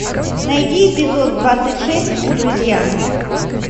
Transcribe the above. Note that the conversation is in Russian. найди эпизод двадцать шесть друзья